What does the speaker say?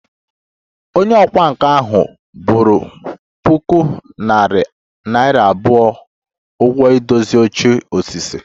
Onye ọkwá nkà ahụ boro puku naira abụọ ụgwọ idozi oche osisi